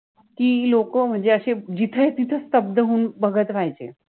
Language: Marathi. कि इ लोक मनजे अशे जिथे तिथे स्तब्ध होउन बघत राहायचे